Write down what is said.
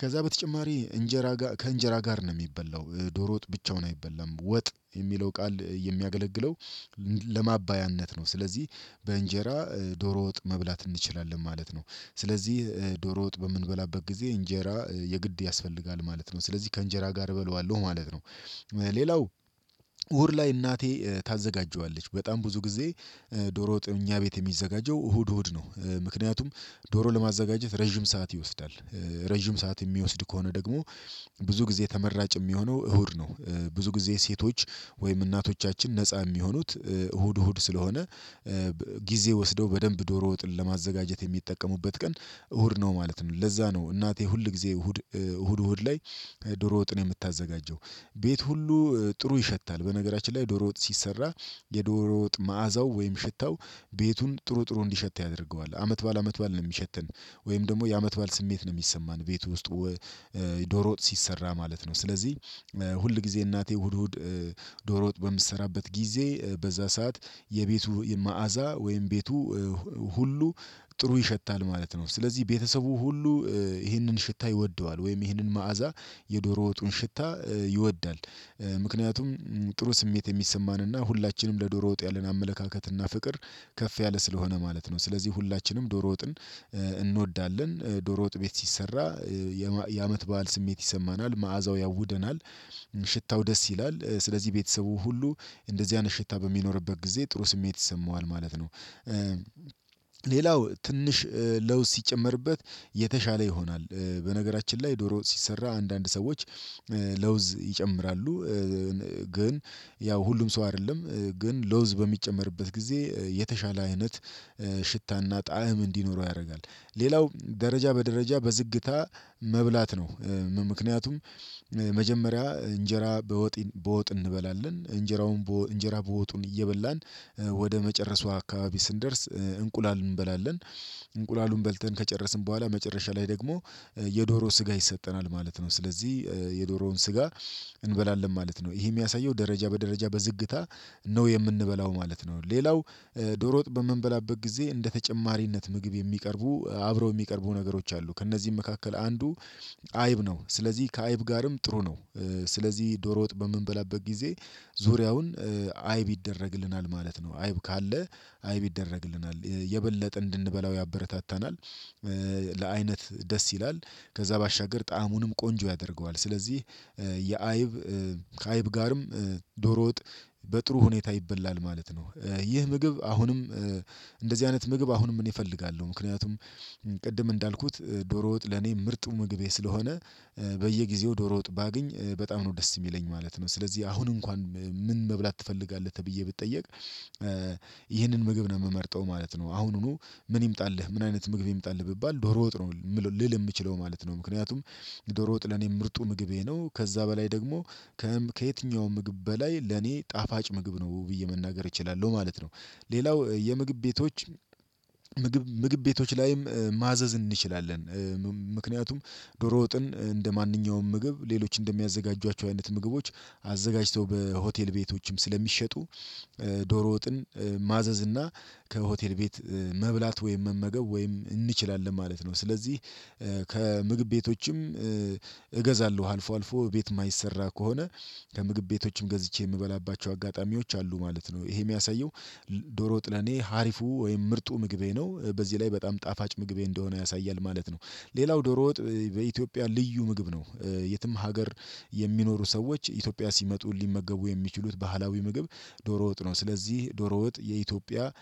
ከዛ በተጨማሪ እንጀራ ከእንጀራ ጋር ነው የሚበላው። ዶሮጥ ብቻውን አይበላም ወጥ የሚለው ቃል የሚያገለግለው ለማባያነት ነው። ስለዚህ በእንጀራ ዶሮ ወጥ መብላት እንችላለን ማለት ነው። ስለዚህ ዶሮ ወጥ በምንበላበት ጊዜ እንጀራ የግድ ያስፈልጋል ማለት ነው ስለዚህ ከእንጀራ ጋር እበለዋለሁ ማለት ነው። ሌላው እሁድ ላይ እናቴ ታዘጋጀዋለች በጣም ብዙ ጊዜ ዶሮ ወጥ ከእኛ ቤት የሚዘጋጀው እሁድ እሁድ ነው። ምክንያቱም ዶሮ ለማዘጋጀት ረጅም ሰዓት ይወስዳል። ረጅም ሰዓት የሚወስድ ከሆነ ደግሞ ብዙ ጊዜ ተመራጭ የሚሆነው እሁድ ነው። ብዙ ጊዜ ሴቶች ወይም እናቶቻችን ነፃ የሚሆኑት እሁድ እሁድ ስለሆነ። ጊዜ ወስደው በደንብ ዶሮ ወጥን ለማዘጋጀት የሚጠቀሙበት ቀን እሁድ ነው ማለት ነው። ለዛ ነው እናቴ ሁል ጊዜ እሁድ እሁድ እሁድ ላይ ዶሮ ወጥን የምታዘጋጀው። ቤት ሁሉ ጥሩ ይሸታል። በነገራችን ላይ ዶሮ ወጥ ሲሰራ የዶሮ ወጥ መዓዛው ወይም ሽታው ቤቱን ጥሩ ጥሩ እንዲሸት ያደርገዋል። አመት በዓል አመት በዓል ነው የሚሸተን ወይም ደግሞ የአመት በዓል ስሜት ነው የሚሰማን ቤት ውስጥ። ዶሮ ወጥ ሲሰራ ማለት ነው ስለዚህ ሁል ጊዜ እናቴ እሁድ እሁድ ዶሮ ወጥ በምትሰራበት ጊዜ በዛ ሰዓት የቤቱ መዓዛ ወይም ቤቱ ሁሉ ጥሩ ይሸታል ማለት ነው። ስለዚህ ቤተሰቡ ሁሉ ይህንን ሽታ ይወደዋል ወይም ይህንን መዓዛ የዶሮ ወጡን ሽታ ይወዳል። ምክንያቱም ጥሩ ስሜት የሚሰማንና ሁላችንም ለዶሮ ወጥ ያለን አመለካከትና ፍቅር ከፍ ያለ ስለሆነ ማለት ነው። ስለዚህ ሁላችንም ዶሮ ወጥን እንወዳለን ዶሮ ወጥ ቤት ሲሰራ የአመት በዓል ስሜት ይሰማናል መዓዛው ያውደናል። ሽታው ደስ ይላል ስለዚህ ቤተሰቡ ሁሉ እንደዚህ አይነት ሽታ በሚኖርበት ጊዜ ጥሩ ስሜት ይሰማዋል ማለት ነው። ሌላው ትንሽ ለውዝ ሲጨመርበት የተሻለ ይሆናል። በነገራችን ላይ ዶሮ ሲሰራ አንዳንድ ሰዎች ለውዝ ይጨምራሉ። ግን ያው ሁሉም ሰው አይደለም ግን ለውዝ በሚጨመርበት ጊዜ የተሻለ አይነት ሽታና ጣዕም እንዲኖረው ያደርጋል። ሌላው ደረጃ በደረጃ በዝግታ መብላት ነው። ምክንያቱም መጀመሪያ እንጀራ በወጥ በወጥ እንበላለን እንጀራውን እንጀራ በወጡን እየበላን ወደ መጨረሱ አካባቢ ስንደርስ እንቁላል እንበላለን። እንቁላሉን በልተን ከጨረስን በኋላ መጨረሻ ላይ ደግሞ የዶሮ ስጋ ይሰጠናል ማለት ነው። ስለዚህ የዶሮውን ስጋ እንበላለን ማለት ነው። ይሄ የሚያሳየው ደረጃ በደረጃ በዝግታ ነው የምንበላው ማለት ነው። ሌላው ዶሮ ወጥ በምንበላበት ጊዜ እንደ ተጨማሪነት ምግብ የሚቀርቡ አብረው የሚቀርቡ ነገሮች አሉ ከእነዚህም መካከል አንዱ አይብ ነው ስለዚህ ከአይብ ጋርም ጥሩ ነው። ስለዚህ ዶሮ ወጥ በምንበላበት ጊዜ ዙሪያውን አይብ ይደረግልናል ማለት ነው። አይብ ካለ አይብ ይደረግልናል የበለጠ እንድንበላው ያበረታታናል። አይነት ደስ ይላል። ከዛ ባሻገር ጣዕሙንም ቆንጆ ያደርገዋል ስለዚህ የአይብ ከአይብ ጋርም ዶሮ ወጥ በጥሩ ሁኔታ ይበላል ማለት ነው። ይህ ምግብ አሁንም እንደዚህ አይነት ምግብ አሁንም እኔ እፈልጋለሁ ምክንያቱም ቅድም እንዳልኩት ዶሮ ወጥ ለኔ ምርጡ ምግቤ ስለሆነ በየጊዜው ዶሮ ወጥ ባገኝ በጣም ነው ደስ የሚለኝ ማለት ነው። ስለዚህ አሁን እንኳን ምን መብላት ትፈልጋለህ ተብዬ ብጠየቅ ይህንን ምግብ ነው የምመርጠው ማለት ነው። አሁኑኑ ምን ይምጣልህ ምን አይነት ምግብ ይምጣልህ ብባል ዶሮ ወጥ ነው ልል የምችለው ማለት ነው ምክንያቱም ዶሮ ወጥ ለኔ ምርጡ ምግቤ ነው። ከዛ በላይ ደግሞ ከየትኛውም ምግብ በላይ ለኔ ጣፋጭ ምግብ ነው ብዬ መናገር እችላለሁ ማለት ነው። ሌላው የምግብ ቤቶች ምግብ ምግብ ቤቶች ላይም ማዘዝ እንችላለን። ምክንያቱም ዶሮ ወጥን እንደማንኛውም ምግብ ሌሎች እንደሚያዘጋጇቸው አይነት ምግቦች አዘጋጅተው በሆቴል ቤቶችም ስለሚሸጡ ዶሮ ወጥን ማዘዝ እና ከሆቴል ቤት መብላት ወይም መመገብ ወይም እንችላለን ማለት ነው። ስለዚህ ከምግብ ቤቶችም እገዛለሁ አልፎ አልፎ እቤት የማይሰራ ከሆነ ከምግብ ቤቶችም ገዝቼ የምበላባቸው አጋጣሚዎች አሉ ማለት ነው። ይሄ የሚያሳየው ዶሮ ወጥ ለኔ ሀሪፉ ወይም ምርጡ ምግቤ ነው በዚህ ላይ በጣም ጣፋጭ ምግቤ እንደሆነ ያሳያል ማለት ነው። ሌላው ዶሮ ወጥ በኢትዮጵያ ልዩ ምግብ ነው። የትም ሀገር የሚኖሩ ሰዎች ኢትዮጵያ ሲመጡ ሊመገቡ የሚችሉት ባህላዊ ምግብ ዶሮ ወጥ ነው። ስለዚህ ዶሮ ወጥ የኢትዮጵያ